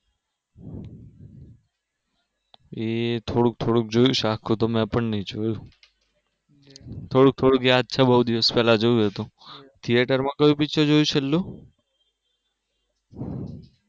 એ થોડુક થોડુક જોઇશ આખું તો મેં પણ ની જોયું થોડુક થોડુક યાદ છે બઉ દિવસ પેલા જોયું હતું થીયેટરમાં કયું picture જોયું છેલ્લે